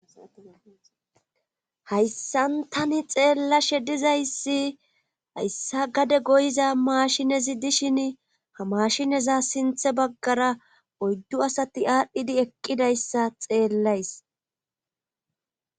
hayssan tani xeella shedizayssi hayssa gade goyiza maashinezi dishin ha maashineza sinthe baggara oyddu asati aadhdhidi eqqidayssa xeellays